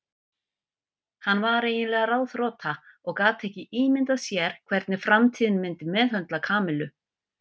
Hann var eiginlega ráðþrota og gat ekki ímyndað sér hvernig framtíðin myndi meðhöndla Kamillu.